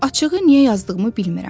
Açığı niyə yazdığımı bilmirəm.